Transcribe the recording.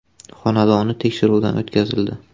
xonadoni tekshiruvdan o‘tkazildi.